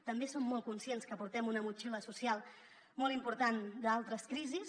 també som molt conscients que portem una motxilla social molt important d’altres crisis